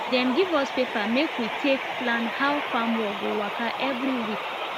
dem give us paper make we take plan how farm work go waka every week